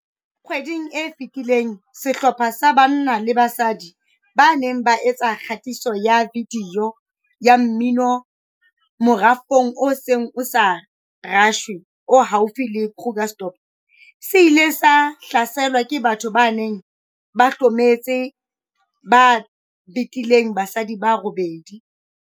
Kgweding e fetileng sehlopha sa banna le basadi ba neng ba etsa kgatiso ya vidiyo ya mmino morafong o seng o sa rashwe o haufi le Krugersdorp se ile sa hlaselwa ke batho ba neng ba hlometse ba betileng basadi ba robedi.